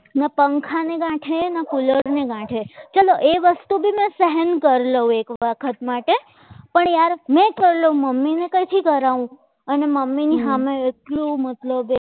ના પંખાને ગાઠે ના કોલરને ગાઠે ચલો એ વસ્તુને સહન કરી લો એક વખત માટે પણ યાર મેં કરલો મમ્મીને ક્યાંથી કરાવું અને મમ્મીની સામે એટલું મતલબ એટલું